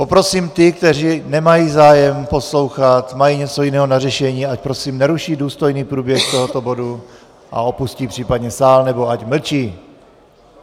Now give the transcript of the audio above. Poprosím ty, kteří nemají zájem poslouchat, mají něco jiného na řešení, ať prosím neruší důstojný průběh tohoto bodu a opustí případně sál, anebo ať mlčí.